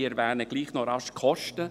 Ich erwähne gleichwohl noch die Kosten.